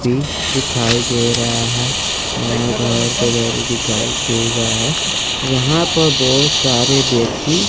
pick दिखाई दे रहा है यहां घर पे घर दिखाई दे रहा है यहां पर बहुत सारे व्यक्ति--